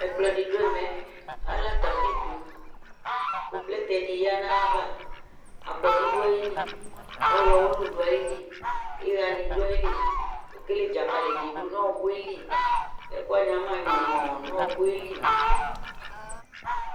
Ɛkplɔɛdɩ dʋ ɛmɛ , ala tapi dʋ Kʋ plɛtɛ dɩ yǝ n'ayava akɔdʋ ayili , ɔɣlɔwʋlʋ dʋ ayili ,ɩɣa nɩ dʋ ayili ,ekele dzakali dɩ dʋ n'ɔɔkʋeli ɛkʋwanɩ ama nyɔmɔɔ n'ɔɔkʋeli